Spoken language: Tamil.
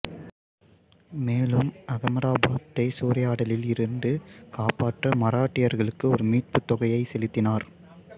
மேலும் அகமதாபாத்தை சூறையாடலில் இருந்து காப்பாற்ற மராட்டியர்களுக்கு ஒரு மீட்புத் தொகையை செலுத்தினார்